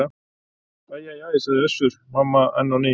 Æ æ æ, sagði Össur-Mamma enn á ný.